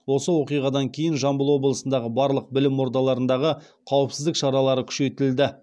осы оқиғадан кейін жамбыл облысындағы барлық білім ордаларындағы қауіпсіздік шаралары күшейтілді